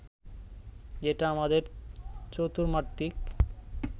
এটা আমাদের চতুর্মাত্রিক